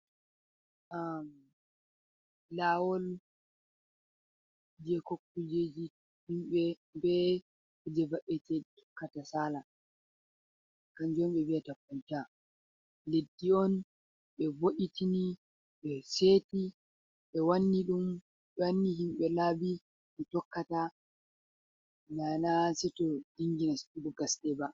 Amm lawol je ko kujeji himbe, be kuje va’etee tokkata sala. Kanjon be vi’a koltaa. Leddi on be vo’itini, be seki, be wanni himbe labbi bo tokkata. na na seto be dingi nastugo bo gaste ba.